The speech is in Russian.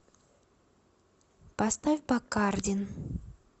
поставь бакардин